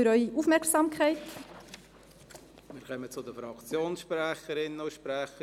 Wir kommen zu den Fraktionssprecherinnen und -sprechern;